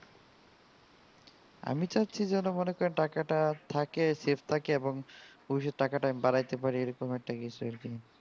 আমি চাচ্ছি যেন মনে টাকাটা থাকে safe থাকে ভবিষৎ এ টাকাটা আমি বাড়াইতে পারি এই রকম কিছু আর কি